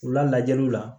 U lajaliw la